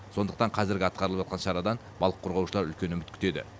сондықтан қазіргі атқарылып жатқан шарадан балық қорғаушылар үлкен үміт күтеді